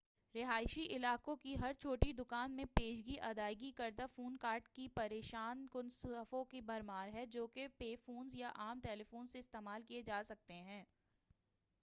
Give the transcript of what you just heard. رہائشی علاقوں کی ہر چھوٹی دکان میں پیشگی ادائیگی کردہ فون کارڈز کی پریشان کن صفوں کی بھرمار ہے جو کہ پے فونز یا عام ٹیلیفونز سے استعمال کیے جا سکتے ہیں